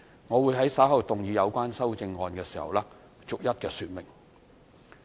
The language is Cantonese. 我會在稍後動議有關的修正案時逐一說明。